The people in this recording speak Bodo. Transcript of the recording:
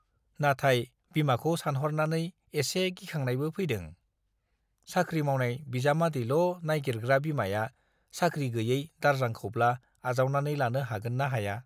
नाथाय बिमाखौ सानहरनानै एसे गिखांनायबो फैदों- साख्रि मावनाय बिजामादैल' नाइगिरग्रा बिमाया साख्रि गैयै दारजांखौब्ला आजावनानै लानो हागोन ना हाया !